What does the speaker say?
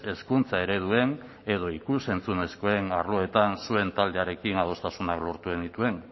hezkuntza ereduen edo ikus entzunezkoen arloetan zuen taldearekin adostasunak lortu genituen